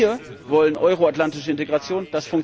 Wir wollen euroatlantische Integration.